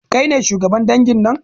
Kai ne shugaban dangin nan